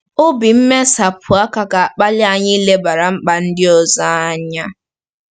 Obi mmesapụ aka ga-akpali anyị ilebara mkpa ndị ọzọ anya.